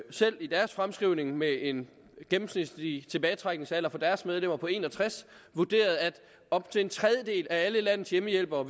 selv i deres fremskrivning med en gennemsnitlig tilbagetrækningsalder for deres medlemmer på en og tres år vurderet at op til en tredjedel af alle landets hjemmehjælpere